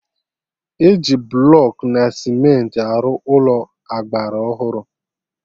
Eji blọkụ na cementị arụ Ụlọ agbara ọhụrụ